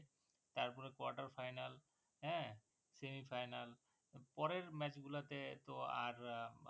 তারপরে quarter final হ্যাঁ semi final পরের match গুলোতে তো আর